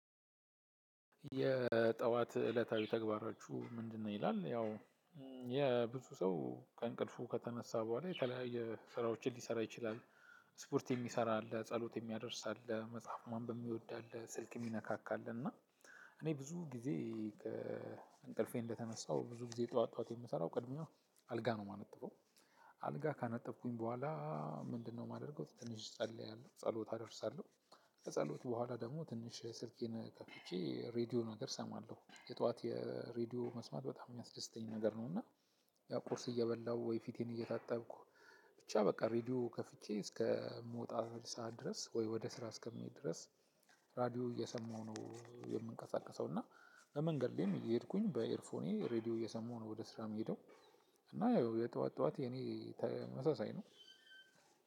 የጠዋት እለታዊ ተግባራችሁ ምንድነው? ይላል ያው የብዙ ሰው ከእንቅልፉ ከተነሳ በኋላ የተለያየ ስራዎችን ሊሰራ ይችላል። ስፖርት የሚሰራ አለ ጸሎት የሚያደርስ አለ መጽሐፍ ማንበብ የሚወድ አለ ስልክ የሚነካካ አለ እና እኔ ብዙ ጊዜ ከእንቅልፌ እንደተነሳሁ ብዙ ጊዜ ጠዋት ጠዋት የምሰራው ቅድሚያው አልጋ ነው የማነጥፈው። አልጋ ካነጠፍኩኝ በኋላ ምንድነው የማደርገው ትንሽ እጸልያለሁ ጸሎት አደርሳለሁ። ከጸሎት በኋላ ደግሞ ትንሽ ስልኬን ከፍቼ ሬድዮ ነገር እሰማለሁ የጧት የሬድዮ መስማት በጣም የሚያስደስተኝ ነገር ነው። እና ያ ቁርስ እየበላው ወይ ፊቴን እየታጠብኩ ብቻ በቃ ሬድዮ ከፍቼ እስከምወጣበት ሰዓት ድረስ ወይ ወደ ስራ እስከምሄድ ድረስ ራዲዮ እየሰማሁ ነው። የምንቀሳቀሰው እና ለመንገድ ላይም እሄድኩኝ በኤርፎኔ ሬዲዮ እየሰማው ነው ወደ ስራ የሚሄደው። እና ያው የጠዋት ጠዋት የኔ ተመሳሳይ ነው።